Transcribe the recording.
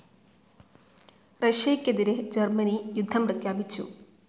റഷ്യയ്ക്കെതിരെ Germany യുദ്ധം പ്രഖ്യാപിച്ചു.